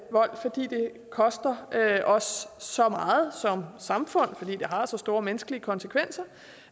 koster os så meget som samfund fordi det har så store menneskelige konsekvenser